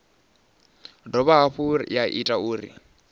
dovha hafhu ya ita uri